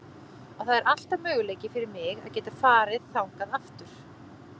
Og það er alltaf möguleiki fyrir mig að geta farið þangað aftur.